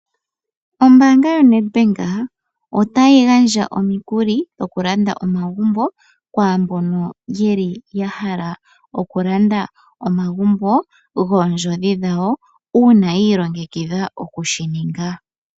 Ombaanga yoNedbank otayi gandja omikuli dhokulanda omagumbo kwaambono yeli yahala okulanda omagumbo goondjodhi dhawo uuna yi ilongekidha okushininga.